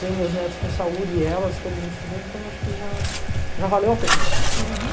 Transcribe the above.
Tenho meus netos com saúde e elas, todo mundo estudando, então acho que já já valeu a pena. Uhum